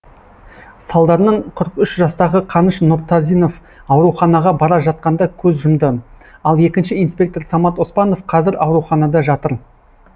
салдарынан қырық үш жастағы қаныш нұртазинов ауруханаға бара жатқанда көз жұмды ал екінші инспектор самат оспанов қазір ауруханада жатыр